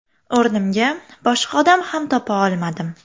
O‘rnimga boshqa odam ham topa olmadim.